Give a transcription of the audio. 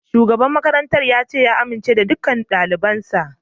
Shugaban makarantar ya ce ya amince da dukkan dalibansa